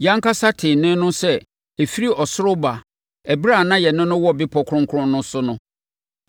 Yɛn ankasa tee nne no sɛ ɛfiri ɔsoro reba ɛberɛ a na yɛne no wɔ Bepɔ Kronkron no so no.